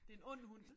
Det en ond hund